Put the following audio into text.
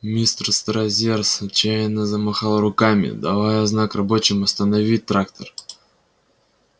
мистер стразерс отчаянно замахал руками давая знак рабочим остановить трактор